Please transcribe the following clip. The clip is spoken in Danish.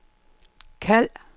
kald